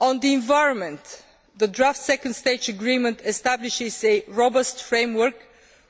On the environment, the draft Second Stage Agreement establishes a robust framework